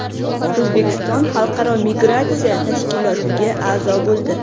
O‘zbekiston Xalqaro migratsiya tashkilotiga a’zo bo‘ldi.